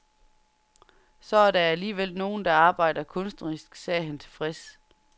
Så er der alligevel nogen, der arbejder kunstnerisk, sagde han tilfreds.